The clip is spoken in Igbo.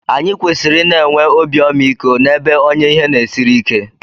Anyị kwesịrị ị na-enwe obi ọmaiko n'ebe onye ihe na-esiri ike